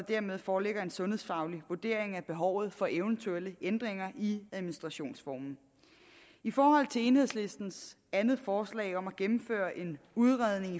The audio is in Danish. dermed foreligger en sundhedsfaglig vurdering af behovet for eventuelle ændringer i administrationsformen i forhold til enhedslistens andet forslag om at gennemføre en udredning